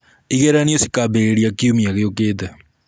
Igeranio cikambĩrĩria kiumia gĩũkĩte.